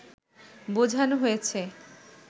বোঝানো হয়েছে